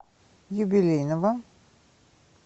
юбилейного